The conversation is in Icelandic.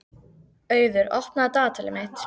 Auður, opnaðu dagatalið mitt.